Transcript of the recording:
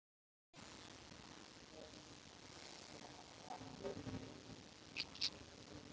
Lýstu flestir sig sammála honum.